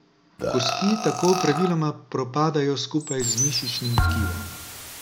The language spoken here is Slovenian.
Kosti tako praviloma propadajo skupaj z mišičnim tkivom.